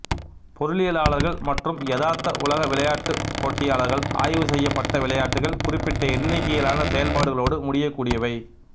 பொருளியலாளர்கள் மற்றும் யதார்த்த உலக விளையாட்டுப் போட்டியாளர்களால் ஆய்வு செய்யப்பட்ட விளையாட்டுகள் குறிப்பிட்ட எண்ணிக்கையிலான செயல்பாடுகளோடு முடியக்கூடியவை